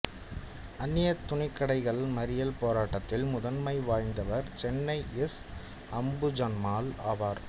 அந்நியத்துணிக்கடைகள் மறியல் போராட்டத்தில் முதன்மை வாய்ந்தவர் சென்னை எஸ் அம்புஜம்மாள் ஆவார்